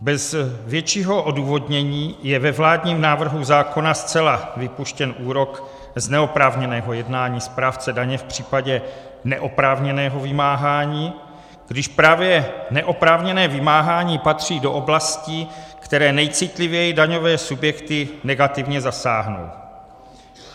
Bez většího odůvodnění je ve vládním návrhu zákona zcela vypuštěn úrok z neoprávněného jednání správce daně v případě neoprávněného vymáhání, když právě neoprávněné vymáhání patří do oblastí, které nejcitlivěji daňové subjekty negativně zasáhnou.